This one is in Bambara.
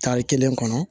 Tari kelen kɔnɔ